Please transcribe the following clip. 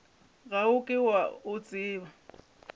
ga o ke o tseba